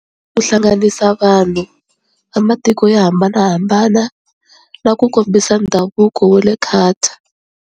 Ku hlanganisa vanhu va matiko yo hambanahambana na ku kombisa ndhavuko wa le Qatar.